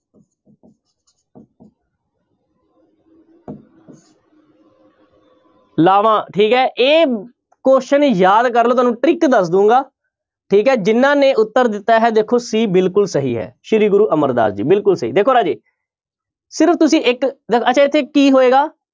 ਲਾਵਾਂ ਠੀਕ ਹੈ ਇਹ question ਯਾਦ ਕਰ ਲਓ ਤੁਹਾਨੂੰ trick ਦੱਸ ਦਊਂਗਾ ਠੀਕ ਹੈ ਜਿਹਨਾਂ ਨੇ ਉੱਤਰ ਦਿੱਤਾ ਹੈ ਦੇਖੋ c ਬਿਲਕੁਲ ਸਹੀ ਹੈ ਸ੍ਰੀ ਗੁਰੂ ਅਮਰਦਾਸ ਜੀ ਬਿਲਕੁਲ ਸਹੀ, ਦੇਖੋ ਰਾਜੇ ਸਿਰਫ਼ ਤੁਸੀਂ ਇੱਕ ਇੱਥੇ ਕੀ ਹੋਏਗਾ